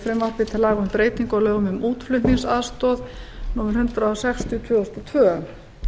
laga um breytingu á lögum um útflutningsaðstoð númer hundrað sextíu tvö þúsund og tvö